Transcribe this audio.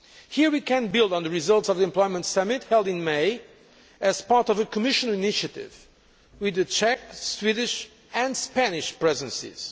Here we can build on the results of the employment summit held in May as part of a Commission initiative with the Czech, Swedish and Spanish Presidencies.